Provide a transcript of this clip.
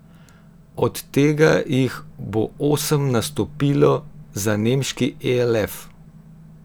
Od tega jih bo sedem nastopilo za nemški elf.